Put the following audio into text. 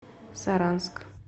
саранск